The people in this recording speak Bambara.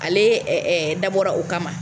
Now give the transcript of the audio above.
Ale dabɔra o kama